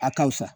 A ka fisa